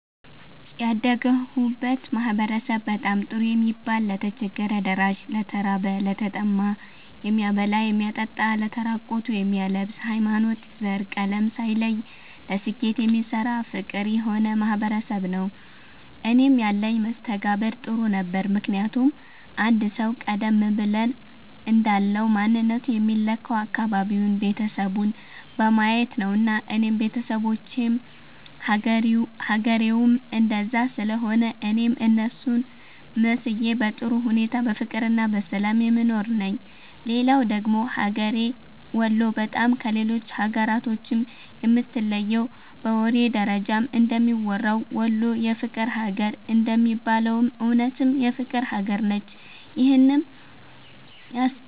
ያደግሁበት ማህበረሰብ በጣም ጥሩ የሚባል ለተቸገረ ደራሽ፣ ለተራበ፣ ለተጠማ የሚያበላ የሚያጠጣ ለተራቆቱ የሚያለብስ፣ ሀይማኖት፣ ዘር፣ ቀለም ሳይለይ ለስኬት የሚሰራ ፍቅር የሆነ ማህበረሰብ ነዉ። እኔም ያለኝ መስተጋብር ጥሩ ነበረ ምክንያቱም አንድ ሰዉ ቀደም ብለን እንዳልነዉ ማንነቱ የሚለካዉ አካባቢዉን፣ ቤተሰቡን በማየት ነዉና እኔም ቤተሰቦቼም ሀገሬዉም እንደዛ ስለሆነ እኔም እነሱን መስዬ በጥሩ ሁኔታ በፍቅርና በሰላም የምኖር ነኝ። ሌላዉ ደግሞ ሀገሬ ወሎ በጣም ከሌሎች ሀገራቶችም የምትለየዉ በወሬ ደረጃም እንደሚወራዉ "ወሎ የፍቅር ሀገር" እንደሚባለዉም እዉነትም የፍቅር ሀገር ነች ይህንም